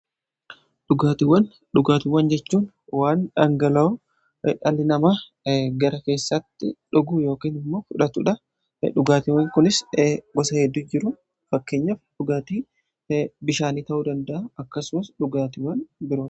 Dhugaatiwwan jechuun waan dhangala'oo dhalli nama gara keessatti dhuguu ykn immoo fudhatuudhaan dhugaatiiwwan kunis gosa hedduu jiru fakkeenyaf dhugaatii bishaanii ta'uu danda'a akkasumas dhugaatiwwan biraa.